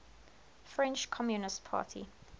french communist party